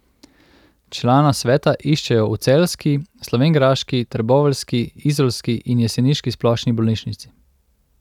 Člana sveta iščejo v celjski, slovenjgraški, trboveljski, izolski in jeseniški splošni bolnišnici.